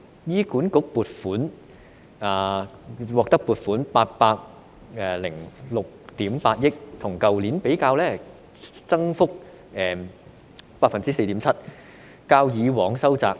醫院管理局獲得撥款806億 8,000 萬元，與去年相比增幅是 4.7%， 較以往收窄。